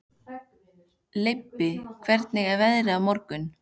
Leibbi, hvernig verður veðrið á morgun?